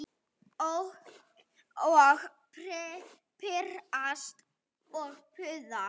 Og pirrast og puða.